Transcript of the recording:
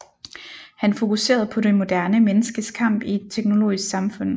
Han fokuserede på det moderne menneskes kamp i et teknologisk samfund